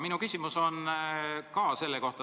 Minu küsimus on ka selle kohta.